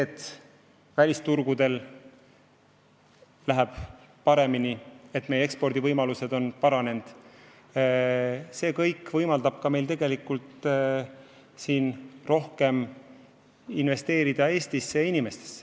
Ka välisturgudel läheb paremini, meie ekspordivõimalused on paranenud ja see kõik võimaldab meil rohkem investeerida Eestisse ja inimestesse.